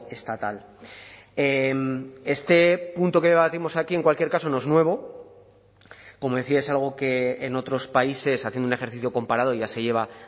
estatal este punto que debatimos aquí en cualquier caso no es nuevo como decía es algo que en otros países haciendo un ejercicio comparado ya se lleva